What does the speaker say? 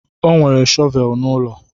O nwere shọvel n'ụlọ.